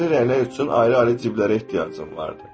Fərqli rənglər üçün ayrı-ayrı cibləri ehtiyacım vardı.